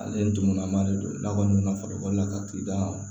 Ale ye dugunma de don n'a kɔni na farikolo la ka ki da ma